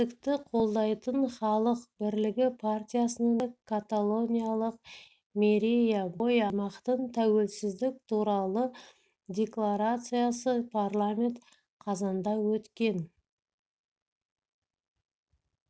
тәуелсіздікті қолдайтын халық бірлігі партиясының депутаты каталониялық мирея боя аймақтың тәуелсіздік туралы декларациясы парламент қазанда өткен